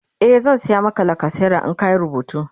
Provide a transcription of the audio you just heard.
e zan saya Maka lacasera in ka Yi rubutu